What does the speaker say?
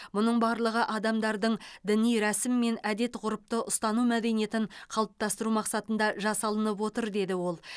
бұның барлығы адамдардың діни рәсім мен әдет ғұрыпты ұстану мәдениетін қалыптастыру мақсатында жасалынып отыр деді ол